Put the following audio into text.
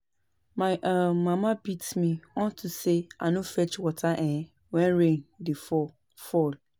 My um mama beat me unto say I no fetch water um wen rain dey fall fall